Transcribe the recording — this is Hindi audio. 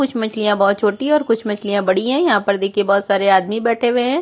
कुछ मछलियाँ बहुत छोटी हैं और कुछ मछलियाँ बड़ी हैं यह पर देखिये बहुत सारे आदमी हुए हैं।